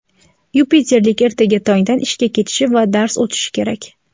Yupiterlik ertaga tongdan ishga ketishi va dars o‘tishi kerak.